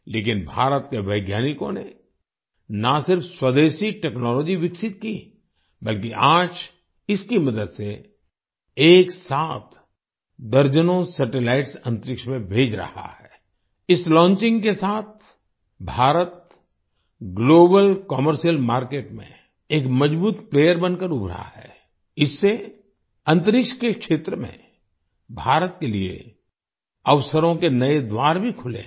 लेकिन भारत के वैज्ञानिकों ने ना सिर्फ स्वदेशी टेक्नोलॉजी विकसित की बल्कि आज इसकी मदद से एक साथ दर्जनों सैटेलाइट्स अंतरिक्ष में भेज रहा है आई इस लॉन्चिंग के साथ भारत ग्लोबल कमर्शियल मार्केट में एक मजबूत प्लेयर बनकर उभरा है इससे अंतरिक्ष के क्षेत्र में भारत के लिए अवसरों के नए द्वार भी खुले हैं